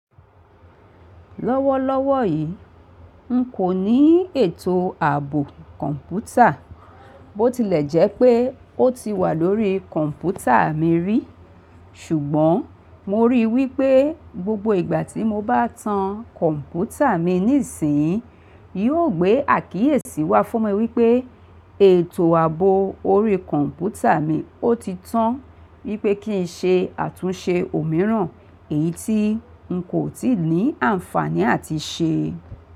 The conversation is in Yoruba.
Lọ́wọ́lọ́wọ́ yi ǹkọ́ ni ètò abo computer. Bó ti lẹ̀ jẹ́ pé ó ti wà lórí kọ̀m̀pútà mi rí. Ṣùgbọ́n mo rí i wí pé gbogbo ìgbà tí mo bá tán kọ̀m̀pútà mi nísìni, yóò gbé àkíyèsí wá fún mi wí pé ètò ààbò orí kọ̀m̀pútà mi ó ti tán. Wí pé kí n ṣe àtúnṣe òmíràn, èyí tí n kò tíì ní àǹfààní à ti ṣe.